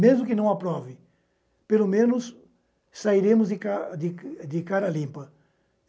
Mesmo que não aprove, pelo menos sairemos de ca de de cara limpa.